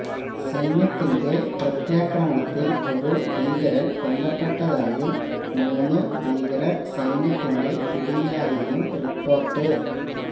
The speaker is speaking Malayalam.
സൈന്യത്തിന്റെ പ്രത്യാക്രമണത്തില് ഒരു ഭീകരന് കൊല്ലപ്പെട്ടതായും മൂന്ന് ഭീകരര് സൈന്യത്തിന്റെ പിടിയിലായെന്നും റിപ്പോര്ട്ട്